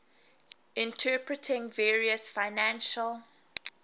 interpreting various financial